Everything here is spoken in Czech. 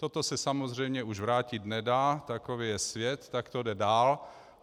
Toto se samozřejmě už vrátit nedá, takový je svět, tak to jde dál.